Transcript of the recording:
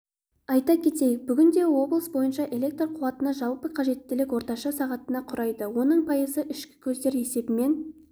айта кетейік бүгінде облыс бойынша электр қуатына жалпы қажеттілік орташа сағатты құрайды оның пайызы ішкі көздер есебінен